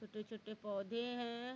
छोटे छोटे पौधे हैं ।